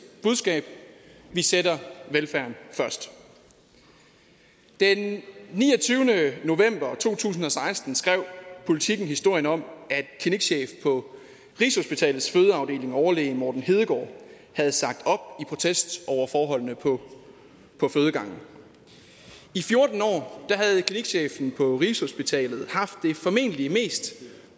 budskab vi sætter velfærden først den niogtyvende november to tusind og seksten skrev politiken historien om at klinikchefen på rigshospitalets fødeafdeling overlæge morten hedegaard havde sagt op i protest over forholdene på fødegangen i fjorten år havde klinikchefen på rigshospitalet haft det formentlig mest